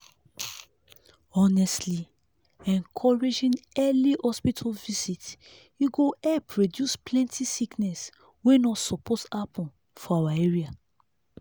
honestly encouraging early hospital visit e go help reduce plenty sickness wey no suppose happen for our area.